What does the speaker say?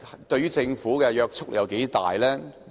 對政府有多大約束力？